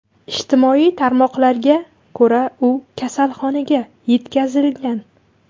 Ijtimoiy tarmoqlarga ko‘ra, u kasalxonaga yetkazilgan.